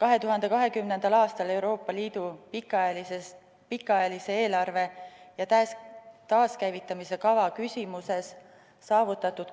2020. aastal Euroopa Liidu pikaajalise eelarve ja taaskäivitamise kava küsimuses saavutatud